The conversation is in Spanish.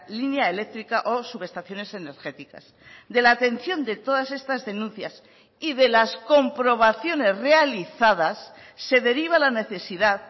línea eléctrica o subestaciones energéticas de la atención de todas estas denuncias y de las comprobaciones realizadas se deriva la necesidad